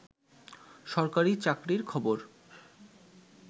সরকারি চাকরির খবর